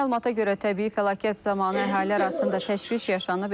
Məlumata görə təbii fəlakət zamanı əhali arasında təşviş yaşanıb,